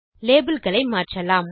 label களை மாற்றலாம்